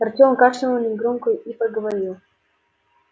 артём кашлянул негромко и проговорил